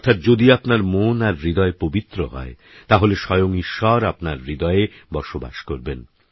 অর্থাৎযদিআপনারমনআরহৃদয়পবিত্রহয়তাহলেস্বয়ংঈশ্বরআপনারহৃদয়েবসবাসকরবেন